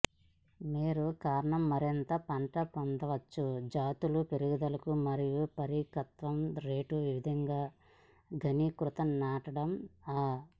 మీరు కారణం మరింత పంట పొందవచ్చు జాతులు పెరుగుదల మరియు పరిపక్వత రేటు వివిధ ఘనీకృత నాటడం ఆ